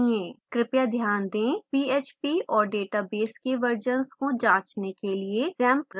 कृपया ध्यान दें php और database के versions को जाँचने के लिए xampp रन होना चाहिए